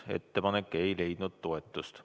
Ettepanek ei leidnud toetust.